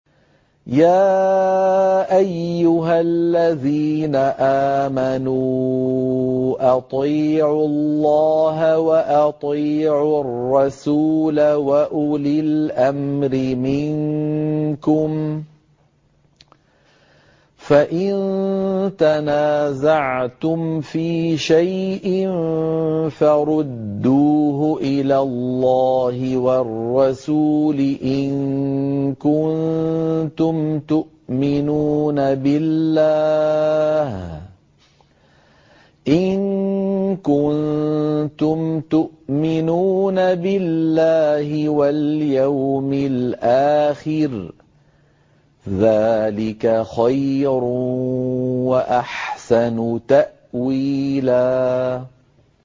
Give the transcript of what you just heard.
يَا أَيُّهَا الَّذِينَ آمَنُوا أَطِيعُوا اللَّهَ وَأَطِيعُوا الرَّسُولَ وَأُولِي الْأَمْرِ مِنكُمْ ۖ فَإِن تَنَازَعْتُمْ فِي شَيْءٍ فَرُدُّوهُ إِلَى اللَّهِ وَالرَّسُولِ إِن كُنتُمْ تُؤْمِنُونَ بِاللَّهِ وَالْيَوْمِ الْآخِرِ ۚ ذَٰلِكَ خَيْرٌ وَأَحْسَنُ تَأْوِيلًا